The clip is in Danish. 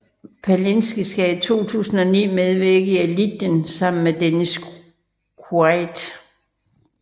Palicki skal i 2009 medvirke i Legion sammen med Dennis Quaid